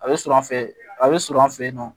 A bɛ sɔrɔ an fɛ a bɛ sɔrɔ an fɛ yen nɔ